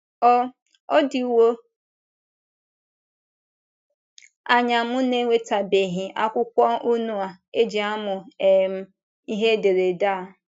Ọ Ọ dịwo anya m na - enwetabeghị akwụkwọ unu e ji amụ um ihe ederede a